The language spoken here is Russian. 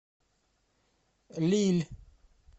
лилль